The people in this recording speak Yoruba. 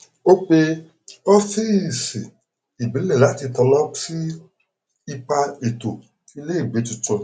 ó pe ọfíìsì ìbílẹ láti tanná sí ipa ètò ìleìgbé tuntun